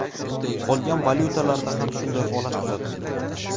Qolgan valyutalarda ham shunday holat kuzatildi.